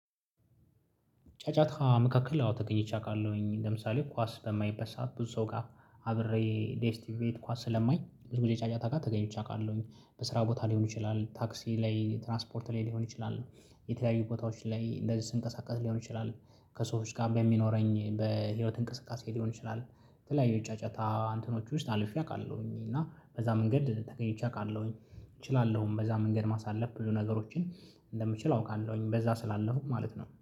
ጫጫታ መካከል አዎ ተገኝቼ አውቃለሁኝ ለምሳሌ ኳስ በማይበት ሰዓት ብዙ ሰው ጋር አብሬ ዴስቲቪ ቤት ኳስ ስለማይ ብዙ ጊዜ ጫጫታ ጋ ተገኝቼ አውቃለሁኝ። በስራ ቦታ ሊሆን ይችላል ታክሲ ላይ ትራንስፖርት ላይ ሊሆን ይችላል። የተለያዩ ቦታዎች ላይ እንደዚህ ስንቀሳቀስ ሊሆን ይችላል። ከሰዎች ጋር በሚኖረኝ በህይወት እንቅስቃሴ ሊሆን ይችላል። የተለያዩ ጫጫታ እንትኖች ውስጥ አልፌ አውቃለሁኝ እና በዛ መንገድ ተገኝቼ አውቃለሁኝ እችላለሁኝ በዛ መንገድ ማሳለፍ ብዙ ነገሮችን እንደምችል አውቃለሁኝ። በዛ ስላለሁኝ ማለት ነው